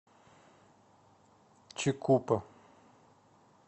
чикупа